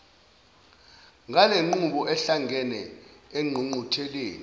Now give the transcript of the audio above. ngalenqubo ahlangene engqungqutheleni